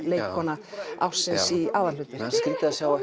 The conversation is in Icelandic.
leikkona ársins í aðalhlutverki það er skrítið að sjá